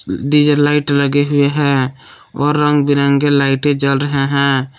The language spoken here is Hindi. डी_जे लाइट लगे हुए है और रंग बिरंगे लाइटें जल रहे हैं।